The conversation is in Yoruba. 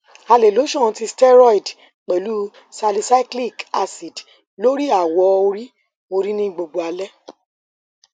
a le lotion ti steroid pẹlu salicylic acid lori awọ ori ori ni gbogbo alẹ